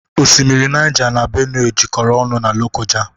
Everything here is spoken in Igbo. Oshimmiri Nija n'Benue jekoro ọnụ n'Lokoja